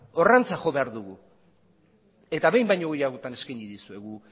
horrantz jo behar dugu eta behin baino gehiagotan eskaini dizuegu